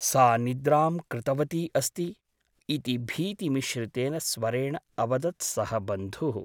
सा निद्रां कृतवती अस्ति । इति भीतिमिश्रितेन स्वरेण अवदत् सः बन्धुः ।